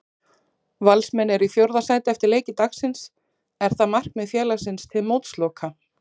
Valsmenn eru í fjórða sæti eftir leiki dagsins, er það markmið félagsins til mótsloka?